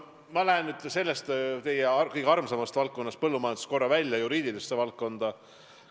Ma lähen sellest teile kõige armsamast valdkonnast, põllumajandusest, korraks juriidilisse valdkonda.